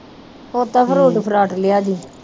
ਉਹ ਦਾ ਫਰੂਟ ਫਰਾਟ ਲਿਆਂਦੀ।